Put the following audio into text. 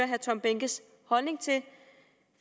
herre tom behnkes holdning til vi